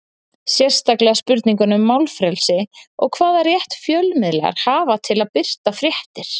Sérstaklega spurninguna um málfrelsi og hvaða rétt fjölmiðlar hafa til að birta fréttir?